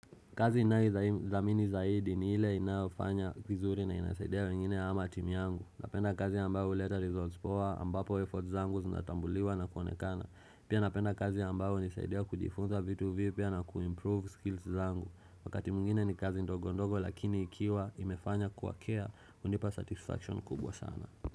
Kazi inaizamini zaidi ni ile inafanya kizuri na inasaidea wengine ama timi yangu Napenda kazi ambayo leta results poa ambapo efforts zangu zinatambuliwa na kuonekana Pia napenda kazi ambayo nisaidea kujifunza vitu vipya na kuimprove skills zangu Wakati mwngine ni kazi ndogondogo lakini ikiwa imefanya kuwakea undipa satisfaction kubwa sana.